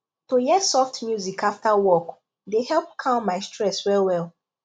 to hear soft music after work dey help calm my stress well well